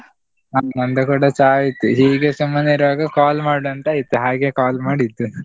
ಆ ನಂದು ಕೂಡ ಚಾ ಆಯ್ತು, ಹೀಗೆ ಸುಮ್ಮನೆ ಇರ್ವಾಗ call ಮಾಡ್ವ ಅಂತ ಆಯ್ತು, ಹಾಗೆ call ಮಾಡಿದ್ದು.